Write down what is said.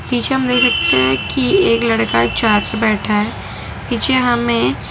पीछे हम ये देख सकते हैं कि एक लड़का एक चार पे बैठा है नीचे हमें--